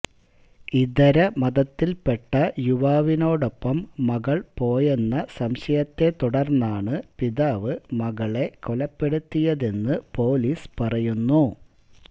ഇതര മതത്തില്പ്പെട്ട യുവാവിനോടൊപ്പം മകള് പോയെന്ന സംശയത്തെ തുടര്ന്നാണ് പിതാവ് മകളെ കൊലപ്പെടുത്തിയതെന്ന് പോലീസ് പറയുന്നു